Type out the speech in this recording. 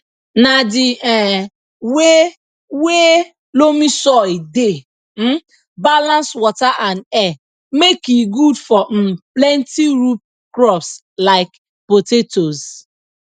na di um wey wey loamy soil dey um balance water and air make e good for um plenti root crops like potatoes